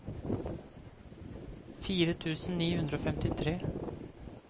fire tusen ni hundre og femtitre